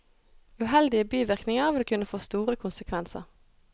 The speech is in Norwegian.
Uheldige bivirkninger vil kunne få store konsekvenser.